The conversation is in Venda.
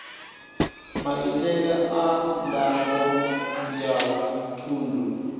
maitele a ndango ya thundu